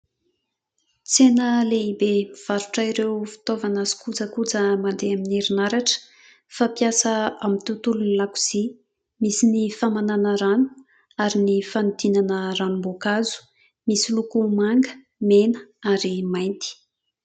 Tsena lehibe mivarotra ireo fitaovana sy kojakoja mandeha amin'ny herinaratra ; fampiasa amin'ny tontolon'ny lakozia ; misy ny famananà rano ary ny fanodinana ranom-boankazo ; misy loko manga mena ary mainty.